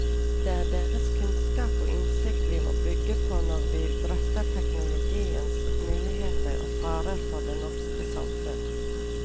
Det er deres kunnskap og innsikt vi må bygge på når vi drøfter teknologiens muligheter og farer for det norske samfunn.